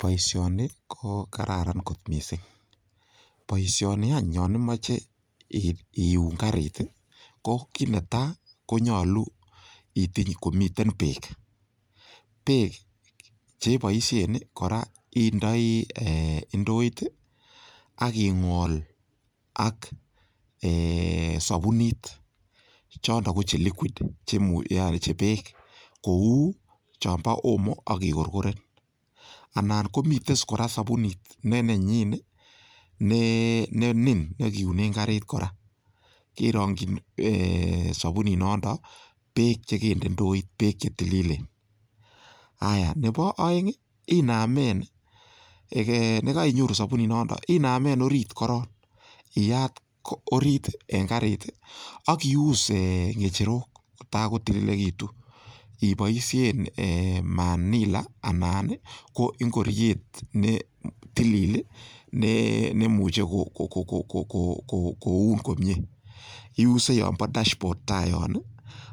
Boisioni ko kararan kot mising, boisioni any yon imoche iun karit ii ko kit netai konyolu itiny komiten beek. Beek che iboisien kora indoi indoit ak ing'ol ak sobunit. Chondo ko che liquid yaani che beek. Kou chon bo omo ak i korkoren. Anan komiten kora sobunit ne nenyin ne nin ne kiunen karit kora kerongin sobunit noton beek che kende ndooit, beek che tililen. Haaiya nebo oeng inamen, orit korong iyat orit en karit ak iuus ng'echerok kotagotililegitun iboishen manila anan ko ingoryet ne tilil neimuche koun komie, iuse yon bo dashboard taa yon